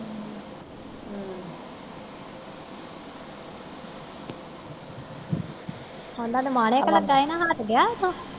ਓਹਨਾ ਦਾ ਮਾਣਿਕ ਲਗਾ ਹੀ ਨਾ ਹੱਟ ਗਿਆ ਉਥੋਂ